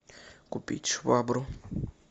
купить швабру